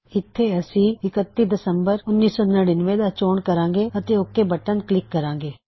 ਇੱਥੇ ਅਸੀ 31 ਡੇਕ1999 ਦਾ ਚੋਣ ਕਰਾਂਗੇ ਅਤੇ ਓਕ ਬਟਨ ਕਲਿੱਕ ਕਰਾਂਗੇ